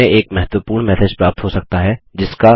हमें एक महत्वपूर्ण मैसेज प्राप्त हो सकता है